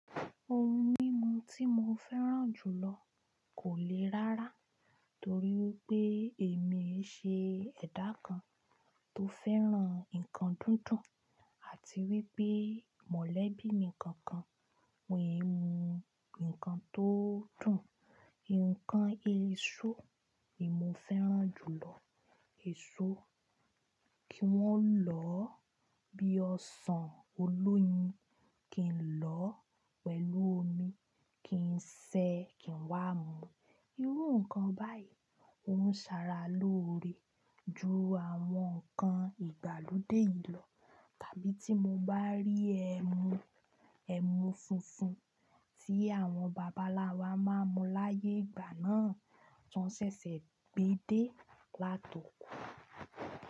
Ohun mímu tí mo fẹ́ràn jùlọ kò le rárá torí pé èmi i ṣe ẹ̀dá kan tó fẹ́ràn ǹkan dídùn àti wípé mọ̀lẹ́bí mi kankan wọn é mu ǹkan tó dùn. Ǹkan èso ni mo fẹ́ràn jùlọ, èso kí wọ́n lọ̀ bíi ọsàn, olóyin kin lọ̀ pẹ̀lú omi kin se kin wá mu. Irú ǹkan báyìí òún ṣara lóore ju àwọn ǹkan ìgbàlódé yìí lọ tàbí tí mo bá rí ẹmu, ẹmu fúnfun tí àwọn babaláwa máa ń mu láyé ìgbà náà tó ṣẹ̀ṣẹ̀ gbé dé látoko.